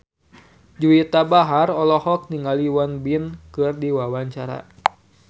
Juwita Bahar olohok ningali Won Bin keur diwawancara